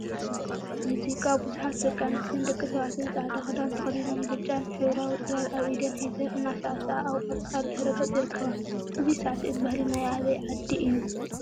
ሙዚቃ ቡዙሓት ደቂ አንስትዮን ደቂ ተባዕትዮን ፃዕዳ ክዳን ተከዲኖም ብጫን ሕብራዊ ፅላል አብ ኢደን ሒዘን እናሳዕስዓ አብ ቆፃል ድሕረ ገፅ ይርከባ፡፡ እዚሳዕስዒት ባህሊ ናይ አበይ ዓዲ እዩ?